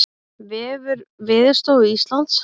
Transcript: Vefur Veðurstofu Íslands